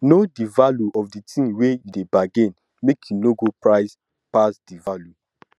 know di value of di tin you dey bargain make you no go price pass di value